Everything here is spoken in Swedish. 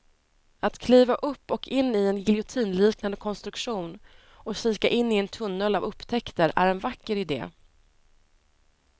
Att kliva upp och in i en giljotinliknande konstruktion och kika in i en tunnel av upptäckter är en vacker idé.